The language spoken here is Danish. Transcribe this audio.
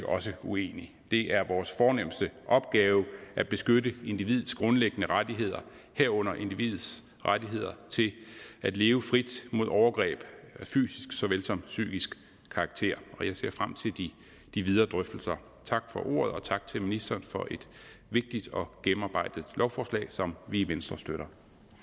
også uenig det er vores fornemste opgave at beskytte individets grundliggende rettigheder herunder individets rettigheder til at leve frit mod overgreb af fysisk såvel som psykisk karakter og jeg ser frem til de videre drøftelser tak for ordet og tak til ministeren for et vigtigt og gennemarbejdet lovforslag som vi i venstre støtter